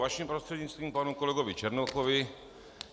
Vaším prostřednictvím panu kolegovi Černochovi.